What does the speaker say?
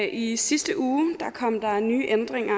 i sidste uge kom der nye ændringer